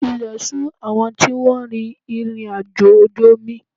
Ilẹ̀ ṣù àwọn tí wọ́n rin ìrìnàjò ojú omi